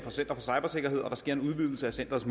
interessere os